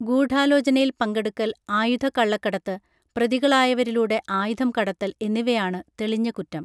ഗൂഢാലോചനയിൽ പങ്കെടുക്കൽ ആയുധ കള്ളക്കടത്ത് പ്രതികളായവരിലൂടെ ആയുധം കടത്തൽ എന്നിവയാണ് തെളിഞ്ഞ കുറ്റം